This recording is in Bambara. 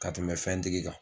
Ka tɛmɛ fɛn tigi kan.